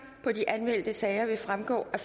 på de anmeldte sager vil fremgå af